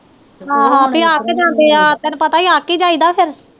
ਆਹ ਫੇਰ ਅੱਕ ਜਾਂਦੇ ਆ ਤੈਨੂੰ ਪਤਾ ਅੱਕ ਈ ਜਾਈ ਦਾ ਫੇਰ